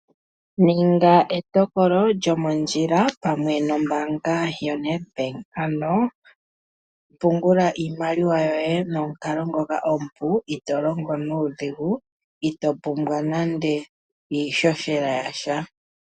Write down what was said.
Ninga etokolo lyomondjila pamwe nombaanga yoNedBank. Ano pungula iimaliwa yoye nomukalo ngoka omupu itoo longo nuudhigu itoo pumbwa nando iihohela yasha.